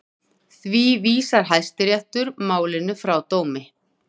Því vísar Hæstiréttur málinu frá dómi